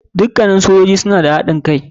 Dukannin sojoji suna da haɗin kai.